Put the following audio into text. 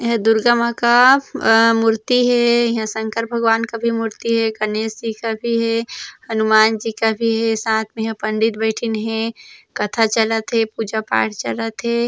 एहा दुर्गा मा का ए मूर्ति हे ईहा संकर भगवान का मूर्ति भी मूर्ति हे गणेश जी का हे हनुमान जी भी हे साथ मे इहा पंडित बैथीन हे कथा चलत हे पूजा-पाठ चलत हे।